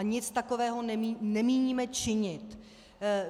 A nic takového nemíníme činit.